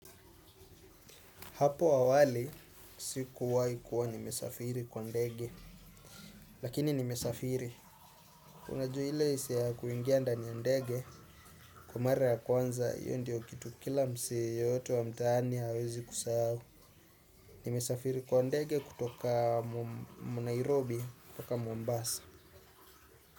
Hapo awali, sikuwahi kuwa nimesafiri kwa ndege, lakini nimesafiri. Unajua ile hisiaya kuingia ndani ndege, kwa mara ya kwanza, hiyo ndio kitu kila msee yeyote wa mtaani hawezi kusahau. Nimesafiri kwa ndege kutoka mu Nairobi mpaka Mombasa.